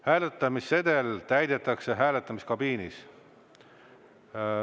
Hääletamissedel täidetakse hääletamiskabiinis.